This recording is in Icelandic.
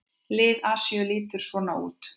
Lið Asíu lítur svona út